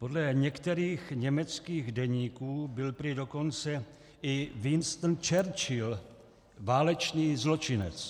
Podle některých německých deníků byl prý dokonce i Winston Churchill válečný zločinec.